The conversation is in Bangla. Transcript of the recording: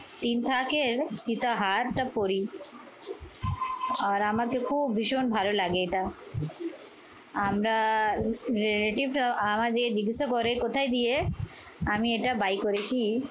তিন থাক এর সীতা হারটা পড়ি। আর আমাকে খুব ভীষণ ভালো লাগে এটা। আমরা relative রাও আমাকে জিজ্ঞাসা করে কোথায় দিয়ে আমি এটা buy করেছি।